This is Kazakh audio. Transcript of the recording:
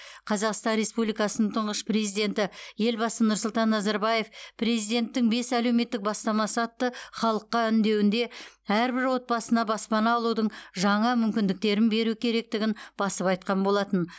қазақстан республикасын тұңғыш президенті елбасы нұрсұлтан назарбаев президенттің бес әлеуметтік бастамасы атты халыққа үндеуінде әрбір отбасына баспана алудың жаңа мүмкіндіктерін беру керектігін басып айтқан болатын